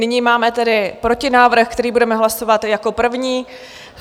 Nyní máme tedy protinávrh, který budeme hlasovat jako první.